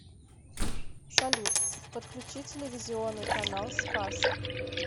салют подключи телевизионный канал спас